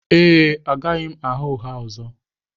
Ee, agaghị m agha ụgha ọzọ